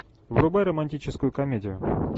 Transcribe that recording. врубай романтическую комедию